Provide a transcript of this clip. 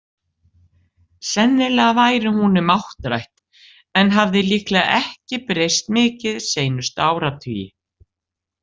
Sennilega væri hún um áttrætt en hafði líklega ekki breyst mikið seinustu áratugi.